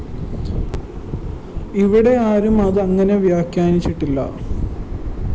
ഇവിടെ ആരും അത് അങ്ങനെ വ്യാഖ്യാനിച്ചിട്ടില്ല